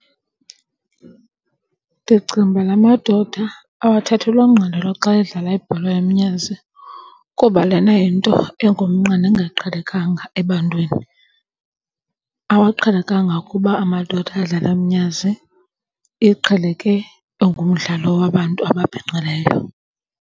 Ndicinga ukuba la madoda awathathelwa ngqalelo xa edlala ibhola yomnyazi kuba lena yinto engumnqa nengaqhelekanga ebantwini. Awaqhelekanga kuba amadoda adlala umnyazi. Iqheleke ingumdlalo wabantu ababhinqileyo.